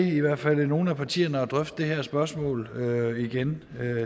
i hvert fald nogle af partierne til at drøfte det her spørgsmål igen